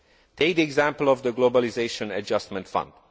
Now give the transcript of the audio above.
Take the example of the Globalisation Adjustment Fund.